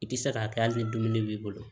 I tɛ se k'a kɛ hali ni dumuni b'i bolo